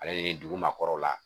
Ale nin dugu maakɔrɔw la